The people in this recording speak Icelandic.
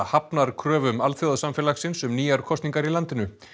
hafnar kröfum alþjóðasamfélagsins um nýjar kosningar í landinu